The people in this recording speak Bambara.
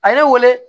A ye ne wele